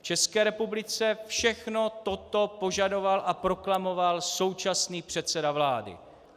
V České republice všechno toto požadoval a proklamoval současný předseda vlády.